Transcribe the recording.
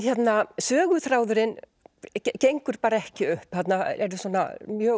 söguþráðurinn gengur bara ekki upp þarna eru mjög